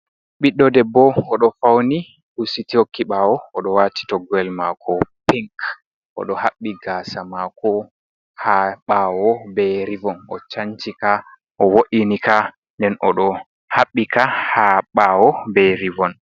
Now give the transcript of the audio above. ɓiddo debbo o ɗo fauni husiti yhokki ɓawo, oɗo wati toggoyel mako pink, oɗo haɓɓi gasa mako ha ɓawo ɓe ribon, o chancika o wo’inika den oɗo habbika ha ɓawo ɓe ribon.